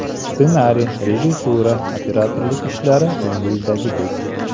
Ssenariy, rejissura, operatorlik ishlari ko‘ngildagidek.